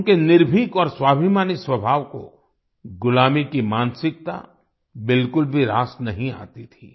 उनके निर्भीक और स्वाभिमानी स्वाभाव को गुलामी की मानसिकता बिल्कुल भी रास नहीं आती थी